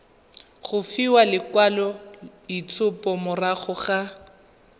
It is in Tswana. go fiwa lekwaloitshupo morago ga